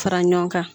Fara ɲɔgɔn kan